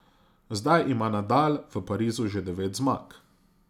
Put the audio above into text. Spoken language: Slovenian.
Zdaj ima Nadal v Parizu že devet zmag.